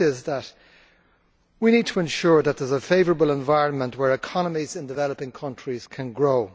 The first is that we need to ensure that there is a favourable environment in which economies in developing countries can grow.